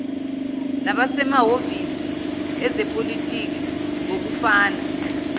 nabasemahhovisi ezepolitiki ngokufana